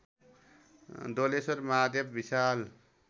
Doleshwar Mahadev Vishal